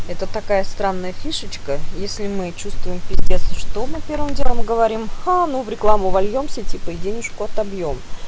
это такая странная фишечка если мы чувствуем пиздец что мы делом говорим ха ну в рекламу вольёмся и денежку отобьём